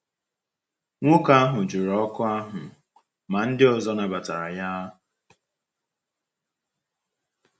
Nwoke ahụ jụrụ oku ahụ, ma ndị ọzọ nabatara ya.